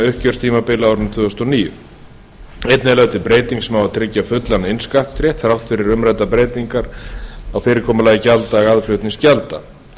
uppgjörstímabila á árinu tvö þúsund og níu einnig er lögð til breyting sem á að tryggja fullan innskattsrétt þrátt fyrir umræddar breytingar á fyrirkomulagi gjalddaga aðflutningsgjalda